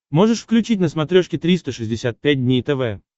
можешь включить на смотрешке триста шестьдесят пять дней тв